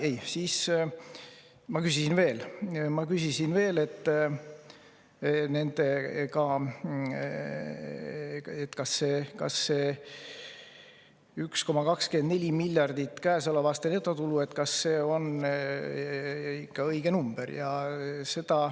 Ei, mina küsisin veel, ma küsisin seda, kas see 1,24 miljardit käesoleva aasta netotulu on ikka õige number.